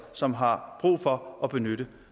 som har brug for at benytte